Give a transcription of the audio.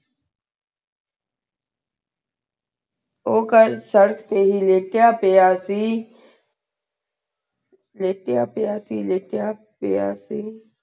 ਊ ਕਲ ਸਰ੍ਰਕ ਤੇ ਲਾਯ੍ਤੀਯ ਪ੍ਯ ਸੇ ਲਾਯ੍ਤ੍ਯਾ ਪ੍ਯ ਸੇ ਲਾਯ੍ਤ੍ਯਾ ਪ੍ਯ ਸੇ